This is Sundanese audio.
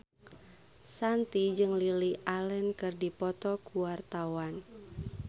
Shanti jeung Lily Allen keur dipoto ku wartawan